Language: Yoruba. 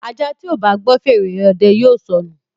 Aja tíó bá gbó fèrè òde yóò sọnu.